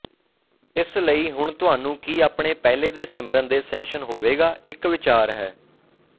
ਇਸ ਲਈ ਹੁਣ ਤੁਹਾਨੂੰ ਕੀ ਆਪਣੇ ਪਹਿਲੇ ਦੇ ਸਿਮਰਨ ਦੇ ਸੈਸ਼ਨ ਹੋਵੇਗਾ ਇੱਕ ਵਿਚਾਰ ਹੈ